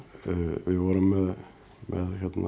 við vorum með